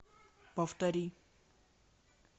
повтори